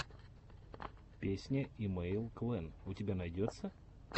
песня имэйл клэн у тебя найдется